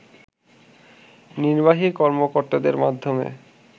নির্বাহী কর্মকর্তাদের মাধ্যমে